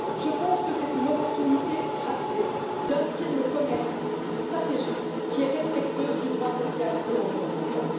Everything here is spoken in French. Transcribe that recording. Je pense que c'est une opportunité ratée d'inscrire le commerce dans une stratégie qui soit respectueuse du droit social et environnemental.